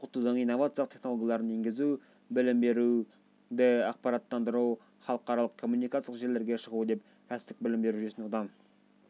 оқытудың инновациялық технологияларын енгізу білім беруді ақпараттандыру халықаралық коммуникациялық желілерге шығу деп кәсіптік білім беру жүйесін одан